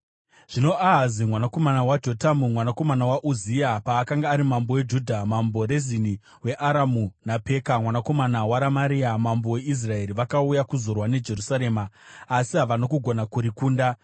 Zvino Ahazi mwanakomana waJotamu, mwanakomana waUzia, paakanga ari mambo weJudha, Mambo Rezini weAramu naPeka mwanakomana waRamaria mambo weIsraeri vakauya kuzorwa neJerusarema, asi havana kugona kurikunda.